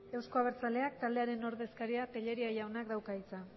euzko abertzaleak taldearen ordezkariak telleria jaunak dauka hitza